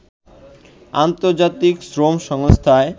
আন্তর্জাতিক শ্রম সংস্থায়